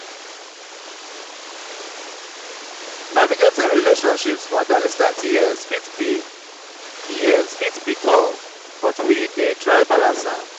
navigating relationships for adolescent years fit be years fit be tough but we dey try balance am.